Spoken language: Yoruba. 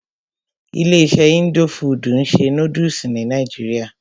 Ilé iṣé indo fudù ń ṣe nódúsì ní nàìjíría.